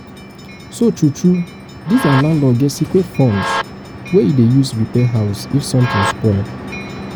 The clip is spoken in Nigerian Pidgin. so true true this our landlord get secret funds wey he dey use repair house if something spoil